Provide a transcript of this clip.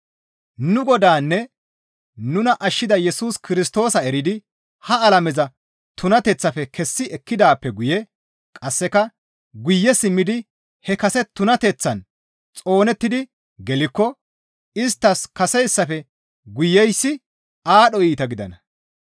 Nu Godaanne nuna ashshida Yesus Kirstoosa eridi ha alameza tunateththaafe kessi ekkidaappe guye qasseka guye simmidi he kase tunateththaan xoonettidi gelikko isttas kaseyssafe guyeyssi aadho iita gidana.